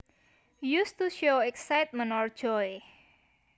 Used to show excitement or joy